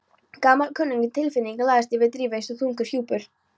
Gamalkunnug tilfinning lagðist yfir Drífu eins og þungur hjúpur.